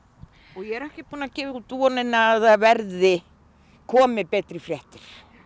ég er ekki búin að gefa út vonina að það verði komi betri fréttir